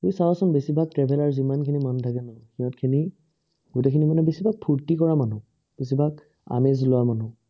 তুমি চাবাচোন বেছিভাগ traveller যিমানখিনি মানুহ থাকে, সিহঁতখিনি গোটেইখিনি, বেছিভাগ ফুৰ্তি কৰা মানুহ, বেছিভাগ আমেজ লোৱা মানুহ।